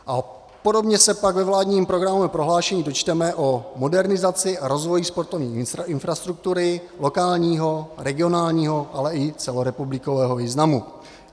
A podobně se pak ve vládním programovém prohlášení dočteme o modernizaci a rozvoji sportovní infrastruktury lokálního, regionálního, ale i celorepublikového významu.